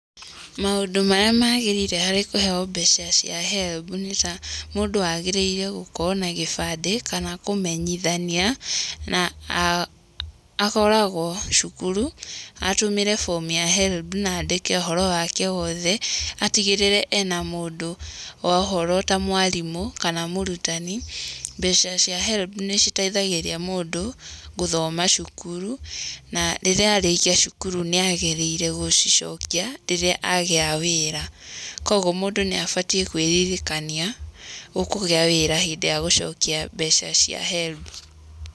Maũndũ marĩa maagĩrĩire harĩ kũheo mbeca cia HELB nĩ ta, mũndũ agĩrĩire gũkorwo na gĩbandĩ, kana kũmenyithania akoragwo cukuru, atũmĩre form ya HELB na andĩke ũhoro wake wothe, atigĩrĩre ena mũndũ wa ũhoro ta mwarimũ kana mũrutani. Mbeca cia HELB nĩ citeithagĩrĩria mũndũ gũthoma cukuru, na rĩrĩa arĩkia cukuru nĩ agĩrĩire gũcicokia, rĩrĩa agĩa wĩra. Kwoguo mũndũ nĩ abatiĩ kwĩririkania ũkũgĩa wĩra hĩndĩ ya gũcokia mbeca cia HELB.